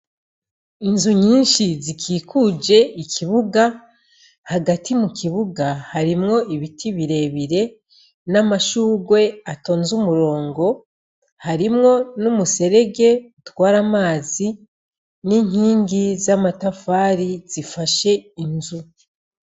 Inzu nyinshi zikikuje ikibuga, hagati mu kibuga harimwo ibiti birebire n'amashugwe atonze umurongo, harimwo n'umuserege utwara amazi n'inkingi z'amatafari zifashe inzu.